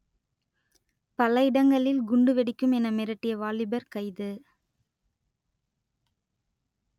பல இடங்களில் குண்டு வெடிக்கும் என மிரட்டிய வாலிபர் கைது